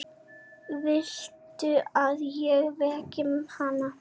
Viltu að ég veki hana?